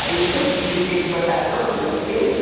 Aí que eu vi que eu tinha que botar todo o meu peso.